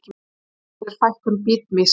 Ástæðan er fækkun bitmýs.